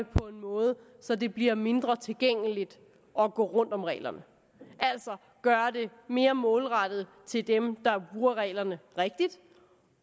på en måde så det bliver mindre tilgængeligt at omgå reglerne altså gøre det mere målrettet dem der bruger reglerne rigtigt